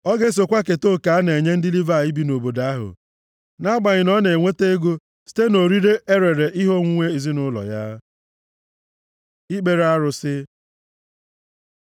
Ọ ga-esokwa keta oke a na-ekenye ndị Livayị bi nʼobodo ahụ, nʼagbanyeghị na ọ na-enweta ego site nʼorire e rere ihe onwunwe ezinaụlọ ya. Ikpere arụsị